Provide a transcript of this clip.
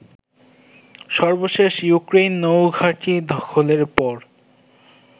সর্বশেষ ইউক্রেইন নৌঘাঁটি দখলের পর